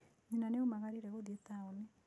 Nyina nĩ aamũgiririe gũthiĩ taũni.